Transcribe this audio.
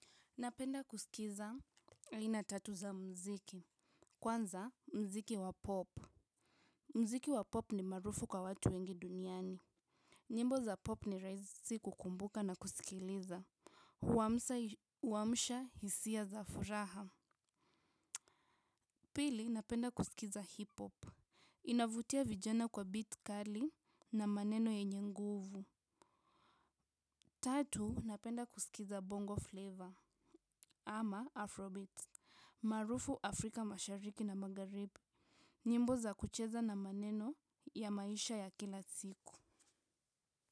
Napenda kusikiza aina tatu za muziki. Kwanza muziki wa pop. Mziki wa pop ni marufu kwa watu wengi duniani. Nyimbo za pop ni rahisi kukumbuka na kusikiliza. Huamsha hisia za furaha. Pili napenda kusikiza hip hop. Inavutia vijana kwa beat kali na maneno yenye nguvu. Tatu napenda kusikiza bongo flavor ama afrobeat. Maarufu Afrika mashariki na magharibi nyimbo za kucheza na maneno ya maisha ya kila siku.